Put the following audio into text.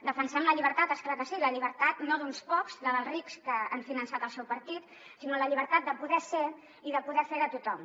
defensem la llibertat és clar que sí la llibertat no d’uns pocs la dels rics que han finançat el seu partit sinó la llibertat de poder ser i de poder fer de tothom